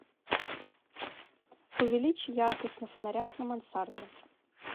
увеличь яркость на фонарях на мансарде